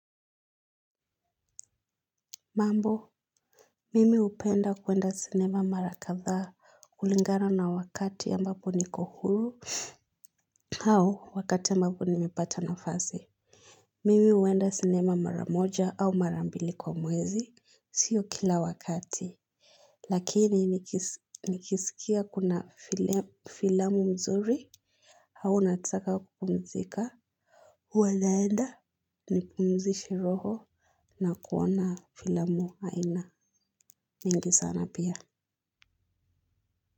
Mambo, mimi hupenda kuenda sinema mara kadhaa, kulingana na wakati ambapo niko huru au wakati ambapo nimepata nafasi. Mimi huenda sinema mara moja au mara mbili kwa mwezi, sio kila wakati. Lakini nikisikia kuna filamu mzuri, hau nataka kupumzika. Huwa naenda ni pumzishe roho na kuona filamu aina mingi sana pia.